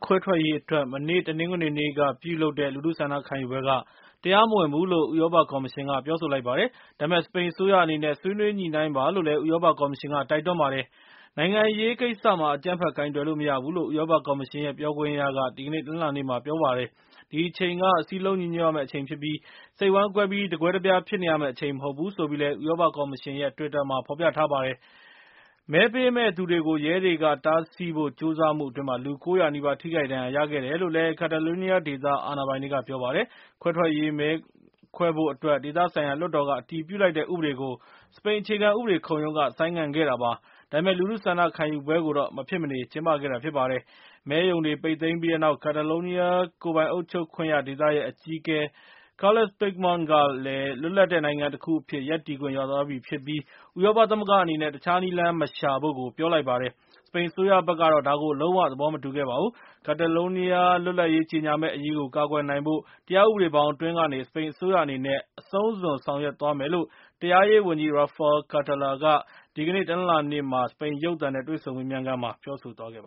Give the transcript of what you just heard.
ခွဲထွက်ရေး အတွက် မနေ့ တနင်္ဂနွေနေ့က လူထုဆန္ဒခံယူပွဲက တရားမဝင်ဘူးလို့ ဥရောပ ကော်မရှင်က ပြောဆိုပါတယ်။ ဒါပေမယ့် စပိန် အစိုးရ အနေနဲ့ ဆွေးနွေးညှိနှိုင်းပါလို့လည်း ဥရောပ ကော်မရှင်က တိုက်တွန်းပါတယ်။ နိုင်ငံရေး ကိစ္စမှာ အကြမ်းဖက် ကိုင်တွယ်လို့ မရဘူးလို့ ဥရောပ ကော်မရှင်ရဲ့ ပြောခွင့်ရက ဒီကနေ့ တနလာၤနေ့မှာ ပြောဆိုတာပါ။ဒီအချိန်က စည်းလုံး ညီညွတ်ရမယ့် အချိန်ုဖြစ်ပြီး စိတ်ဝမ်းကွဲပြီး တကွဲတပြား ဖြစ်နေရမယ့် အချိန်မဟုတ်ဘူးဆိုပြီးလည်း ဥရောပ ကော်မရှင်ရဲ့ တွစ်တာမှာ ဖော်ပြထားပါတယ်။ မဲပေးမယ့်သူတွေကို ရဲတွေက တားဆီးဖို့ ကြိုးစားမှု အတွင်း လူ ၉၀၀ နီးပါး ထိခိုက်ဒဏ်ရာရခဲ့တယ်လို့လည်း Cataloniaဒေသ အာဏာပိုင်တွေက ပြောပါတယ်။ ခွဲထွက်ရေး မဲခွဲဖို့ အတွက် ဒေသဆိုင်ရာ လွှွတ်တော်က အတည်ပြုလိုက်တဲ့ ဥပဒေကို စပိန် အခြေခံ ဥပဒေခုံရုံးက ဆိုင်းငံ့ခဲ့တာပါ။ ဒါပေမယ့် လူထုဆန္ဒခံယူပွဲကို မဖြစ်မနေ ကျင်းပခဲ့တာ ဖြစ်ပါတယ်။ မဲရုံတွေ ပိတ်သိမ်းပြီးနောက် Catalonia ကိုယ်ပိုင်အုပ်ချုပ်ခွင့်ရ ဒေသရဲ့ အကြီးအကဲ Carles Puigdemont က လွတ်လပ်တဲ့ နိုင်ငံတခုအဖြစ် ရပ်တည်ခွင့် ရသွားပြီဖြစ်ပြီး ဥရောပ သမဂ္ဂ အနေနဲ့ တခြားနည်းလမ်းမရှာဖို့ ပြောဆိုလိုက်ပါတယ်။ စပိန် အစိုးရဘက်ကတော့ ဒါကို လုံး၀ သဘောမတူပါဘူး။ Catalonia လွတ်လပ်ရေး ကြေညာမယ့် အရေးကို ကာကွယ်နိုင်ဖို့ တရားဥပဒေဘောင် အတွင်းကနေ စပိန်အစိုးရ အနေနဲ့ အဆုံးစွန် ဆောင်ရွက်မယ်လို့ တရားရေး ဝန်ကြီး Rafael Catala က ဒီကနေ့ တနလာၤနေ့ စပိန် ရုပ်သံနဲ့ တွေ့ဆုံမေးမြန်းခန်းမှာ ပြောဆိုသွားပ